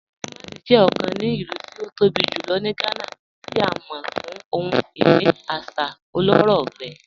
Kumàsì jẹ́ ọ̀kàn ní ilù tí ó tó bí julọ̀ ní Gànà, tí a mọ̀ fún ohun-iní àṣà ọlọ́rọ̀ rẹ̀.